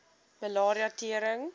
malaria tering